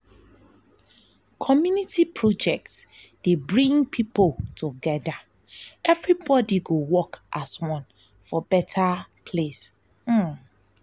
community project dey bring people together everybody go work as one for better place.